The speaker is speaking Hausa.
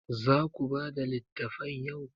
Za ku bada littafan yau?